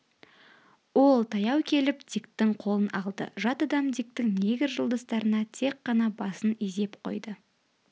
ол таяу келіп диктің қолын алды жат адам диктің негр жолдастарына тек қана басын изеп қойды